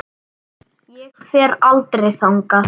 Ég fer aldrei þangað.